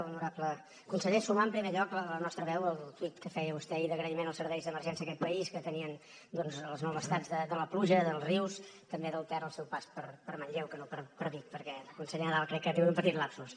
honorable conseller sumar en primer lloc la nostra veu al tuit que feia vostè ahir d’agraïment als serveis d’emergència d’aquest país que tenien doncs les malvestats de la pluja dels rius també del ter al seu pas per manlleu que no per vic perquè el conseller nadal crec que ha tingut un petit lapsus